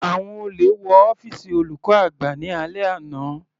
Àwọn olè wọ ọ́fìsì olùkọ́ àgbà ní alẹ́ àná.